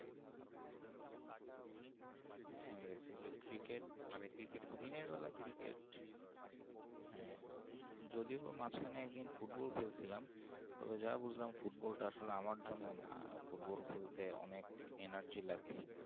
হ্যাঁ basically cricket হ্যাঁ যদিও মাজখানে একদিন football খেলছিলাম তবে যা বুজলাম football টা আসলে আমার জন্যে নয় football খেলতে অনেক energy লাগে হুম